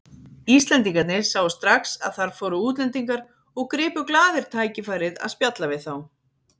Íslendingarnir sáu strax að þar fóru útlendingar og gripu glaðir tækifærið að spjalla við þá.